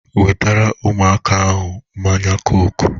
Wetere ụmụaka ahụ mmanya kook!